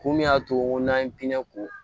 Kun min y'a to n'an ye pinɛ ko